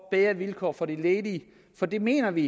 bedre vilkår for de ledige for det mener vi